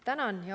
Tänan!